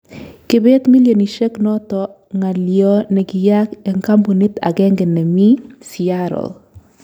Kebeet millionisyek noto ko ngalyo ne kiyaak eng kambunit agenge nemii Seattle